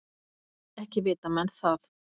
Ekki vita menn það.